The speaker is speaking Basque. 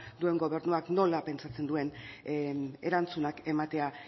duen gobernuak nola pentsatzen duen erantzunak ematea